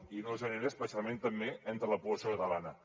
i no ho generen especialment també entre la població catalana